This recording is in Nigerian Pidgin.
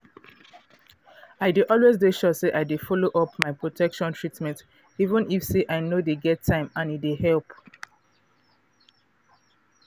i dey always de sure say i dey follow up my protection treatment even if say i no dey get time and e dey help